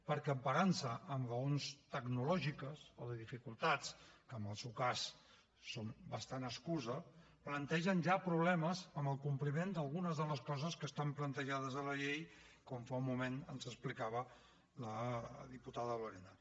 perquè emparant se en raons tecnològiques o de dificultats que en el seu cas són bastant excusa plantegen ja problemes en el compliment d’algunes de les coses que estan plantejades a la llei com fa un moment ens explicava la diputada lorena